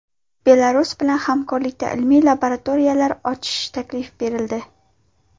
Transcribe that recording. Belarus bilan hamkorlikda ilmiy laboratoriyalar ochish taklifi berildi.